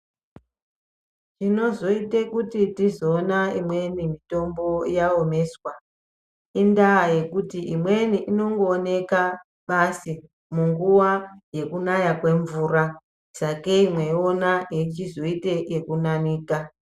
Zvinozoite kuti tione imweni mitombo yaomeswa indaa yekuti imweni inongoonekwa basi munguwa yekunaya kwemvura .Sakei mweiona yechizoite yekunanika.